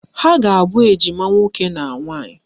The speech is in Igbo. Ha a ga-abụ ejima nwoke na nwaanyị?